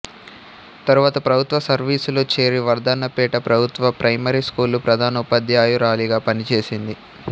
తరువాత ప్రభుత్వ సర్వీసులో చేరి వర్ధన్నపేట ప్రభుత్వ ప్రైమరీ స్కూలు ప్రధానోపాధ్యాయురాలిగా పనిచేసింది